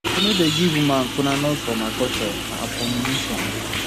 dem no dey give woman kolanut for my culture na abomination